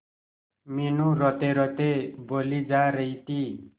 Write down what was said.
मीनू रोतेरोते बोली जा रही थी